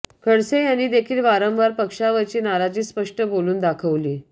खडसे यांनी देखील वारंवार पक्षावरची नाराजी स्पष्ट बोलून दाखवली